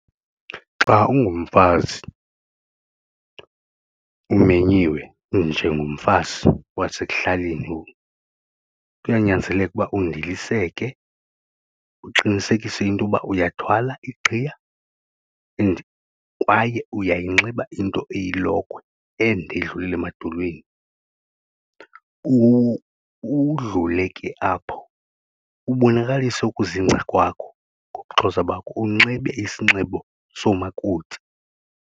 Xa ungumfazi umenyiwe njengomfazi wasekuhlaleni kuyanyanzeleka ukuba undiliseke uqinisekise into yoba uyathwala iqhiya and kwaye uyayinxiba into eyilokhwe ende edlulela emadolweni. Udlule ke apho ubonakalise ukuzingca kwakho ngobuXhosa bakho unxibe isinxibo somakoti.